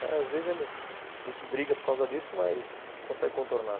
Às vezes a gente briga por causa disso, mas consegue contornar.